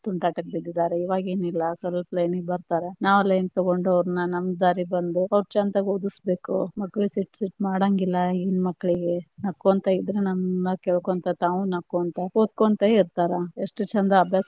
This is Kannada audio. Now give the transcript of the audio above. ತುಂಟಾಟಕ್ಕ ಬಿದ್ದಿದಾವರೀ ಇವಗೆನ ಇಲ್ಲಾ ಸ್ವಲ್ಪ line ಗೆ ಬರ್ತಾರ, ನಾವ line ತಗೊಂಡ್ರ ಅವ್ರ್ನ ನಮ್ಮ ದಾರಿಗ ಅವ್ರ ಚಂತಗ ಓದಸಬೇಕು, ಮಕ್ಕಳಿಗೆ ಸಿಟ್ಟ್ ಸಿಟ್ಟ ಮಾಡಾಂಗಿಲ್ಲಾ ಇಗಿನ ಮಕ್ಕಳಿಗೆ ನಕ್ಕೊಂತ ಇದ್ರ ನಮ್ಮ ಮಾತ ಕೇಳ್ಕೊಂತ ತಾವು ನಕ್ಕೊಂತ ಓದಕೊಂತ ಇರತಾರ ಎಷ್ಟ ಚಂದ ಅಭ್ಯಾಸ.